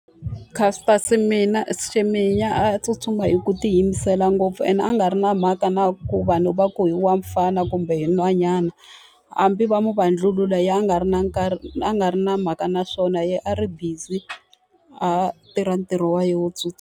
Caster Semenya a tsutsuma hi ku tiyimisela ngopfu ene a nga ri na mhaka na ku vanhu va ku i wa mufana kumbe i nhwanyana. Hambi va n'wi vandlulula yena a nga ri na nkarhi a nga ri na mhaka na swona, yena a ri busy a tirha ntirho wa yena wo tsutsuma.